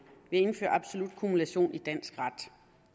indføre absolut kumulation i dansk ret